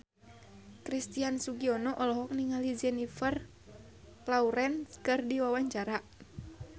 Christian Sugiono olohok ningali Jennifer Lawrence keur diwawancara